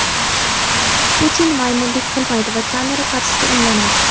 Putin "maymunlik" qilmaydi va kamera qarshisida emlanadi.